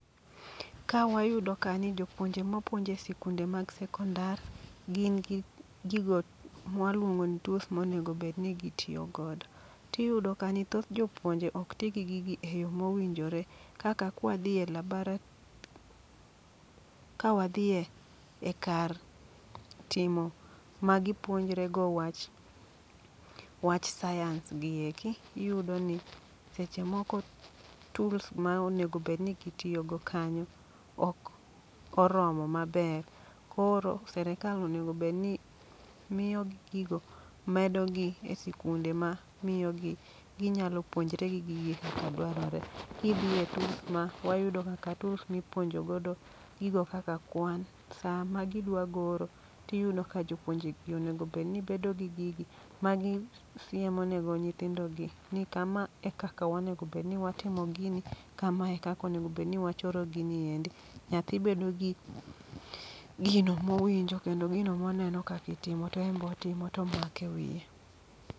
Ka wayudo ka ni jopuonje mapuonjo e sikunde mag sekondar, gin gi gigo mwaluongo ni tools monegobedni gitiyo godo. Tiyudo ka ni thoth jopuonje ok ti gi gigi e yo mowinjore, kaka kwadhi e labara, kawadhiye e kar timo ma gipuonjrego wach, wach sayans gi eki. Iyudo ni seche moko tools ma onegobedni gitiyogo kanyo, ok oromo maber. Koro serikal onego bedni miyogi gigo, medogi e sikunde ma miyogi ginyalo puonjre gigi kaka dwarore. Gidhiye tools ma, wayudo kaka tools mipuonjodo gigo kaka kwan, sa ma gidwa goro, tiyudo ni jopuonje gi onegobedni bedo gi gigi. Ma gisiemo nego nyithindogi ni kama e kaka wanegobedni watimo gini, kama e kaka onegobedni wachoro gini endi. Nyathi bedo gi gino mowinjo, kendo gino moneno kakitimo to en botimo tomake wiye.